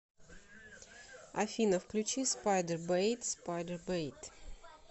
афина включи спайдербэйт спайдербэйт